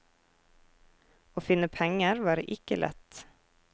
Å finne penger var ikke lett.